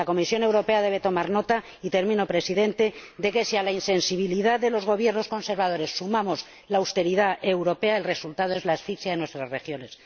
La Comisión Europea debe tomar nota, y termino, Presidente, diciendo que, si a la insensibilidad de los Gobiernos conservadores sumamos la austeridad europea, el resultado es la asfixia de nuestras regiones.